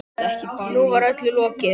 Nú var öllu lokið.